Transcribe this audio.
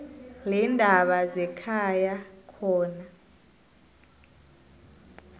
leendaba zekhaya khona